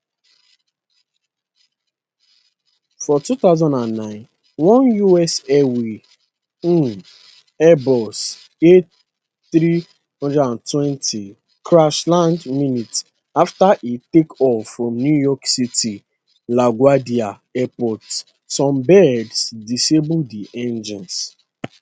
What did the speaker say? for 2009 one us airways um airbus a320 crash land minutes afta e take off from new york city laguardia airport some birds disable di engines